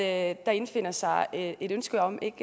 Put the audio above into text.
at der indfinder sig et ønske om ikke